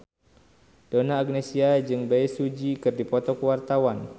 Donna Agnesia jeung Bae Su Ji keur dipoto ku wartawan